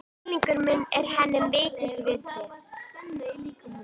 Skilningur minn er henni mikils virði.